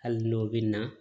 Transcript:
Hali n'o bɛ na